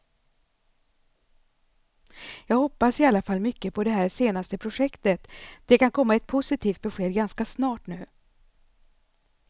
Jag hoppas i alla fall mycket på det här senaste projektet, det kan komma ett positivt besked ganska snart nu.